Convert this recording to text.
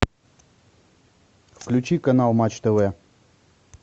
включи канал матч тв